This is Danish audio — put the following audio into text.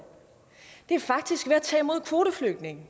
er faktisk ved at tage imod kvoteflygtninge